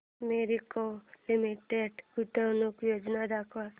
Marico Limited गुंतवणूक योजना दाखव